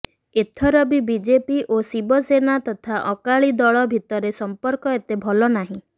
ଏଥର ବି ବିଜେପି ଓ ଶିବ ସେନା ତଥା ଅକାଳି ଦଳ ଭିତରେ ସମ୍ପର୍କ ଏତେ ଭଲ ନାହିଁ